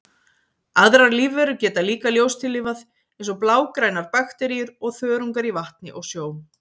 Aðrar lífverur geta líka ljóstillífað, eins og blágrænar bakteríur og þörungar í vatni og sjó.